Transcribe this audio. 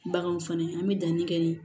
Baganw fana an bɛ danni kɛ ni